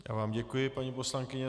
Já vám děkuji, paní poslankyně.